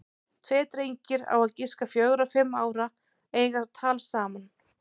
Tveir drengir, á að giska fjögra og fimm ára, eiga tal saman.